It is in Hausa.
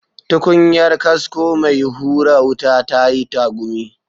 Tukunyar, kasko mai hura wuta, ta yi tagumi.